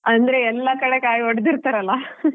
ಅಂದ್ರೆ ಎಲ್ಲಾ ಕಡೆ ಕಾಯಿ ಹೊಡ್ದಿರ್ತಾರಲ್ಲಾ.